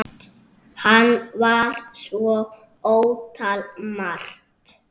Hann var svo ótal margt.